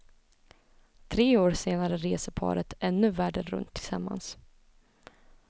Tre år senare reser paret ännu världen runt tillsammans.